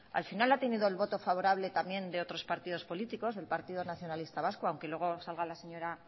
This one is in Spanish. al final ha tenido el voto favorable también de otros partidos políticos del partido nacionalista vasco aunque luego salga la señora